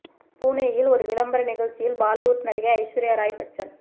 புனேயில் ஒரு விளம்பர நிகழ்ச்சியில் பாலிவுட் நடிகை ஐஸ்வர்யா ராய் பச்சன்